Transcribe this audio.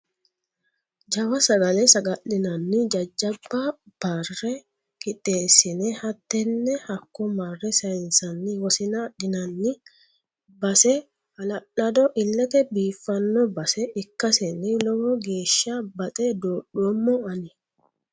Jawa sagale saga'linanni jajjabba bare qixxeessine hattene hakko marre sayinsanni wosina adhinanni base hala'lado ilete biifano base ikkaseni lowo geeshsha baxe dodhoommmo ani.